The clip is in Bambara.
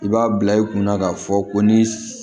I b'a bila i kunna k'a fɔ ko ni